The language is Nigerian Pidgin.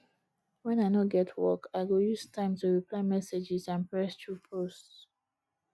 when i no get work i go use time to reply messages and press through posts